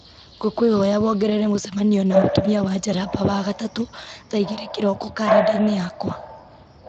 ngũkwĩhoya wongerere mũcemanio na mũtumia wa njaramba wagatatũ thaa igĩrĩ kĩroko karenda-inĩ yakwa